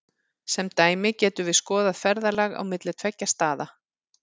Sem dæmi getum við skoðað ferðalag á milli tveggja staða.